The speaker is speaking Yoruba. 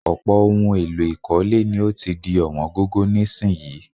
Ọ̀pọ̀ ohun èlò ìkọ́lé ni ó ti di ọ̀wọ́n gógó nísìnyií